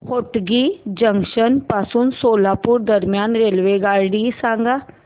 Hotgi junction पासून सोलापूर दरम्यान रेल्वेगाडी सांगा